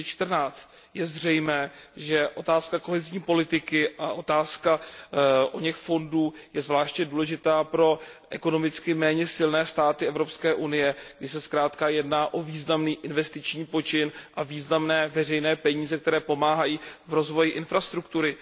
2014. Je zřejmé, že otázka kohezní politiky a otázka oněch fondů je zvláště důležitá pro ekonomicky méně silné státy Evropské unie, kdy se zkrátka jedná o významný investiční počin a významné veřejné peníze, které pomáhají v rozvoji infrastruktury.